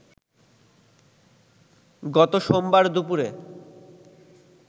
গত সোমবার দুপুরে